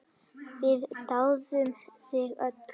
Við dáðum þig öll.